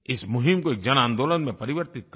इस मुहिम को एक जन आंदोलन में परिवर्तित करें